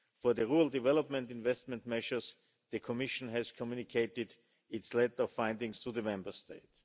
For the rural development investment measures, the Commission has communicated its latest findings to the Member State.